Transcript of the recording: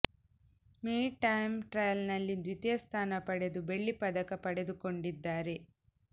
me time trial ನಲ್ಲಿ ದ್ವಿತೀಯ ಸ್ಥಾನ ಪಡೆದು ಬೆಳ್ಳಿ ಪದಕ ಪಡೆದುಕೊಂಡಿದ್ದಾರೆ